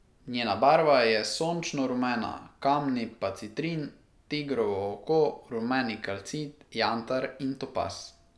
Njena barva je sončno rumena, kamni pa citrin, tigrovo oko, rumeni kalcit, jantar in topaz.